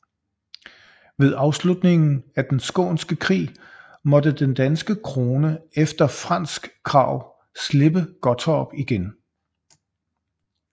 Ved afslutningen af Den skånske Krig måtte den danske krone efter fransk krav slippe Gottorp igen